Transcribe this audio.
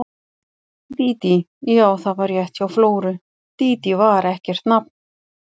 Dídí, já, það var rétt hjá Flóru, Dídí var ekkert nafn.